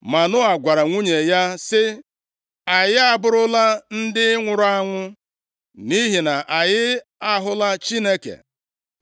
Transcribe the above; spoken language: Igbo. Manoa gwara nwunye ya sị, “Anyị abụrụla ndị nwụrụ anwụ, nʼihi na anyị ahụla Chineke!”